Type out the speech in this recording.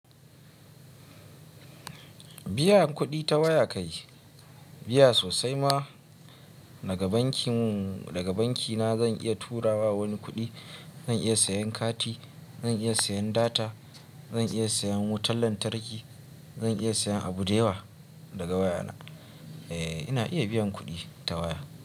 Biyan kuɗi ta waya kai Biya sosai ma, daga bankin, daga banki na zan iya tura wa wani kuɗi, zan iya sayan kati, zan iya sayan data, zan iya sayan wutan lantarki, zan iya sayan abu da yawa daga waya na. Eh, ina iya biyan kuɗi ta waya.